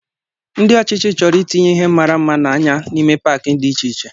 Ndị ọchịchị chọrọ itinye ihe mara mma na-anya n'ime paaki dị iche iche.